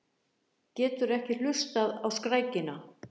Getur ekki hlustað á skrækina.